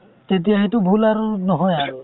তেতিয়া সেইটো ভুল আৰু নহয় আৰু